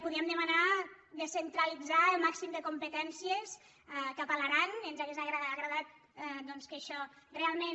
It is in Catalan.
podí·em demanar descentralitzar el màxim de competèn·cies cap a l’aran ens hauria agradat doncs que això realment